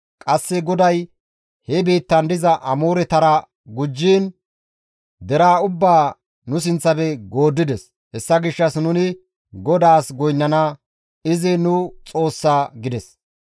Qasse GODAY he biittan diza Amooretara gujjiin deraa ubbaa nu sinththafe gooddides; hessa gishshas nuni GODAAS goynnana; izi nu Xoossa» gides.